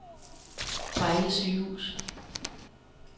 Vejle Sygehus